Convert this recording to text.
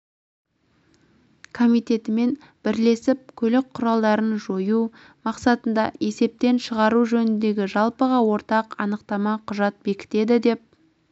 комитетімен бірлесіп көлік құралдарын жою мақсатында есептен шығару жөніндегі жалпыға ортақ анықтама құжат бекітеді деп